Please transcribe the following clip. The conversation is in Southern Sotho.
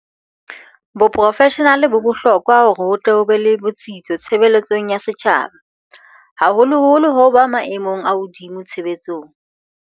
Boprofeshenale bo bohlo kwa hore ho tle ho be le botsitso tshebeletsong ya setjhaba, haholoholo ho ba maemong a hodimo tshebetsong.